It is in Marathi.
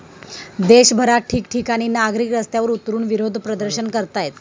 देशभरात ठिकठिकाणी नागरिक रस्त्यांवर उतरुन विरोध प्रदर्शन करतायत.